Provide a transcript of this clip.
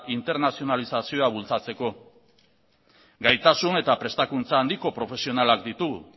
internazionalizazioa bultzatzeko gaitasun eta prestakuntza handiko profesionalak ditugu